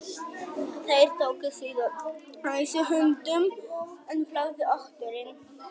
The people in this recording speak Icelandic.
Þeir tóku síðan æsi höndum en fláðu oturinn.